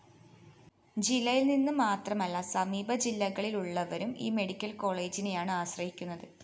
ജില്ലയില്‍നിന്നു മാത്രമല്ല സമീപ ജില്ലകളിലുള്ളവരും ഈ മെഡിക്കൽ കോളേജിനെയാണ് ആശ്രയിക്കുന്നത്